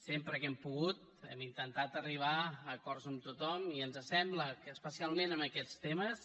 sempre que hem pogut hem intentat arribar a acords amb tothom i ens sembla que especialment en aquests temes